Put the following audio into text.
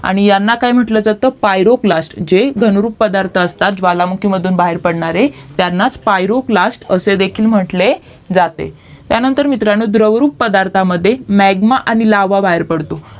आणि यांना काय म्हंटलं जातं पायरोप्लास्ट जे घनरूप पदार्थ असतात ज्वालामुखीतून बाहेर पडणारे त्यांना प्यारोपलास्ट असे देखील म्हंटले जाते त्यानंतर मित्रांनो द्रवरूप पदार्था मध्ये म्याग्मा आणि लावा बाहेर पडतो